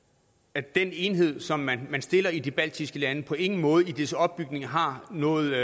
at den enhed som man stiller i de baltiske lande på ingen måde i dens opbygning har noget